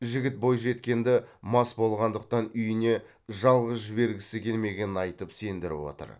жігіт бойжеткенді мас болғандықтан үйіне жалғыз жібергісі келмегенін айтып сендіріп отыр